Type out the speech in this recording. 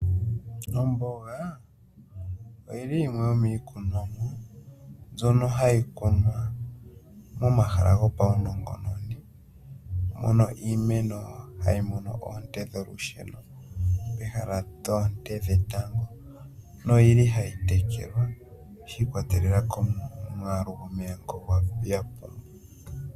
Omboga oyili yimwe yomikunomwa mbyono hayi kunwa momahala gopaunongononi. Mono iimeno hayi mono oonte dholusheno peha lyoonte dhetango noyili hayi tekelwa shiikwatelela komwaalu gomeya ngo yapumbwa.